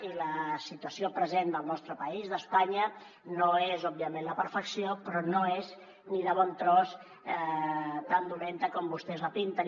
i la situació present del nostre país d’espanya no és òbviament la perfecció però no és ni de bon tros tan dolenta com vostès la pinten